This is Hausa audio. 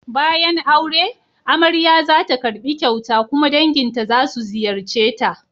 Bayan aure, amarya za ta karbi kyauta kuma danginta za su ziyarce ta.